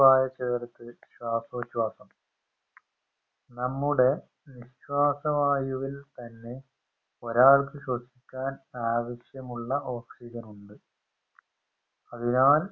വായ ചേർത്ത് ശ്വാസോച്ഛാസം നമ്മുടെ നിശ്വാസ വായുവിൽ തന്നെ ഒരാൾക്ക് ശ്വസിക്കാൻ ആവശ്യമുള്ള oxygen ഉണ്ട് അതിനാൽ